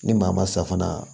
Ni maa ma safunɛ na